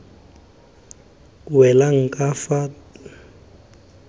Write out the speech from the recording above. welang ka fa tlase ga